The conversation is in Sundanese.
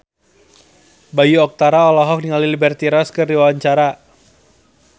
Bayu Octara olohok ningali Liberty Ross keur diwawancara